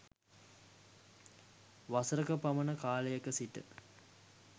වසර ක පමණ කාලයක සිට